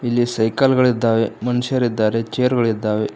ಇಲ್ಲಿ ಸೈಕಲ್ ಗಳಿದ್ದಾವೆ ಮನುಷ್ಯರಿದ್ದಾರೆ ಚೇರುಗಳಿದ್ದಾವೆ.